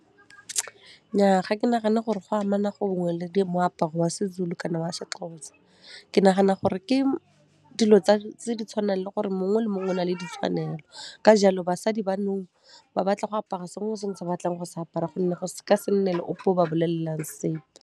Nnyaa, ga ke nagane gore go amana gongwe le moaparo wa Sezulu kana wa Sexhosa. Ke nagana gore ke dilo tse di tshwanang le gore mongwe le mongwe o nale ditshwanelo, ka jalo basadi ba nou ba batla go apara sengwe le sengwe se batlang go se apara gonne go ka se nne le ope o ba bolelelang sepe.